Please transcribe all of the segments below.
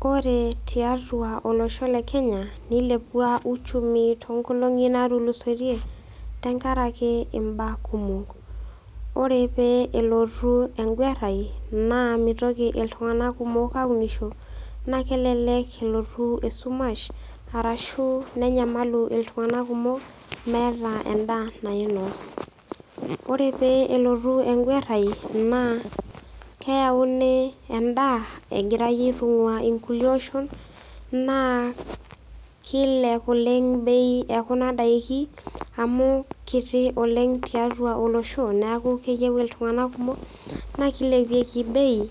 Kore tiatua olosho le Kenya neilepua uchumi tonkolong'i natulusoitie tengarake imbaa kumok. Ore pee elotu enguarrai naa meitoki iltung'ana kumok aunisho naa kelelek elotu esumash arashu nenyamalu iltung'ana kumok meetaa endaa naainos. Ore pee elotu enguarrai naa keauni endaa egirai aitung'uaa ilkulie oshon naa keilep oleng'  bei ekuna daiki amu kiti oleng' tiatua olosho neaku keyeu iltung'ana kumok naa keilepieki  bei.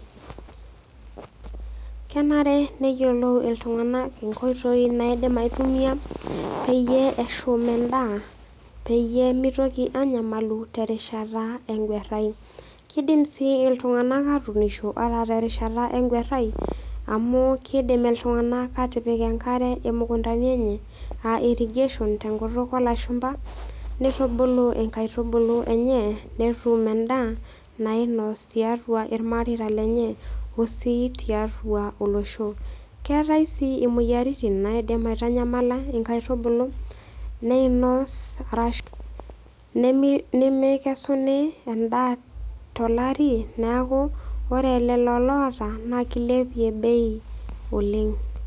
Kenare neyiolou iltung'anak inkoitoi naaidim aitumia peyie eshum endaa peyie meitoki anyamalu terishata enguarrai. Keidim sii iltung'anak atuunisho ata terishata enguarrai amu keidim iltung'anak atipik enkare imukuntani enye [aa] irrigation tenkutuk olashumpa neitubulu inkaitubulu enye netum endaa naainos tiatua ilmareita lenye o sii tiatua olosho. Keetai sii imoyaritin naaidim aitanyamala inkaitubulu neeinos arashu nemi nemeikesuni endaa tolari neaku ore lolo loata naa keilepie bei oleng'.